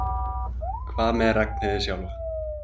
Hvað með Ragnheiði sjálfa?